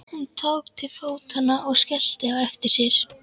Hún tók til fótanna og skellti á eftir sér.